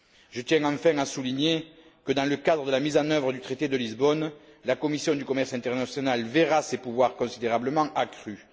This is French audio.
Je tiens enfin à souligner que, dans le cadre de la mise en œuvre du traité de Lisbonne, la commission du commerce international verra ses pouvoirs considérablement accrus.